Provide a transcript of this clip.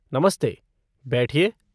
नमस्ते, बैठिए।